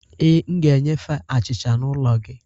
Ee, m ga-enyefe achịcha n’ụlọ gị